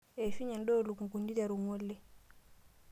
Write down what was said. Eishunye endaa oolukunkuni iteru ng'ole.